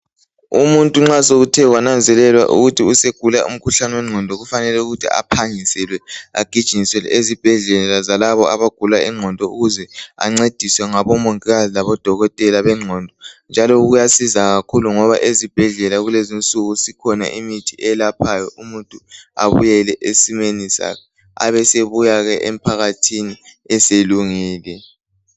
Umuntu nxa sekuthe kwananzelelwa ukuthi usegula umkhuhlane wengqondo kufanele ukuthi aphangiselwe aginyinyiselwe ezibhedlela zalabo abagula ingqondo ukuze ancediswe ngabomongikazi labodokotela bengqondo njalo kuyasiza kakhulu ngoba ezibhedlela kulezinsuku sikhona imithi eyelaphayo umuntu abuyele esimeni sakhe, abesebuyake emphakathini eselungile.